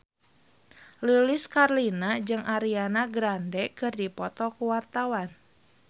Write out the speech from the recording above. Lilis Karlina jeung Ariana Grande keur dipoto ku wartawan